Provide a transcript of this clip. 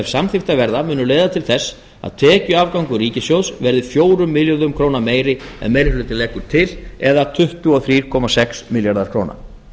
samþykktar verða munu leiða til þess að tekjuafgangur ríkissjóðs verði fjórum milljörðum króna meiri en meirihluti leggur til eða tuttugu og þrjú komma sex milljarðar króna